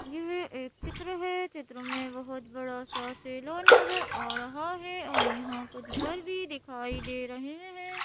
यह एक चित्र है चित्र में बहुत बड़ा सा सेलोन नजर आ रहा है और यहां कुछ घर भी दिखाई दे रहे हैं।